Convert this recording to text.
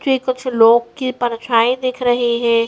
जी कुछ लोग के परछाई दिख रही हैं।